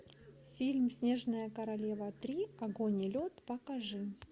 фильм снежная королева три огонь и лед покажи